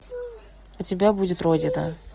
у тебя будет родина